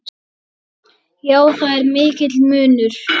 Já, það er mikill munur.